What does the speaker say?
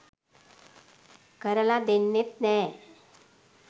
කරලා දෙන්නෙත් නෑ.